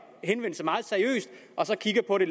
henvendelse meget seriøst og kigger på det